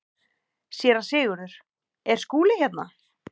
SÉRA SIGURÐUR: Er Skúli hérna?